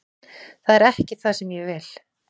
Það er ekki það sem ég vil.